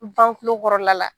kɔrɔla la